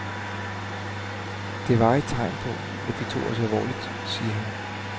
Det var et tegn på, at de tog os alvorligt, siger han.